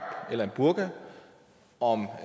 eller en burka og om